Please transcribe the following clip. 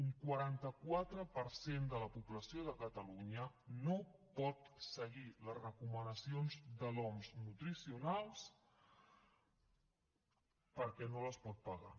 un quaranta quatre per cent de la població de catalunya no pot seguir les recomanacions de l’oms nutricionals perquè no les pot pagar